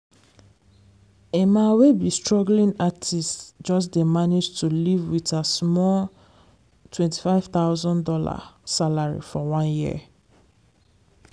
emma wey be struggling artist just d manage to live wit her small twenty five thousand dollar salary for one year.